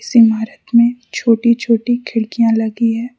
इस इमारत में छोटी छोटी खिड़कियां लगी है।